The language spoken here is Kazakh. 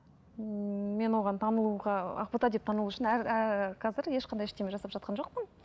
ммм мен оған танылуға ақбота деп танылу үшін әр қазір ешқандай ештеңе жасап жатқан жоқпын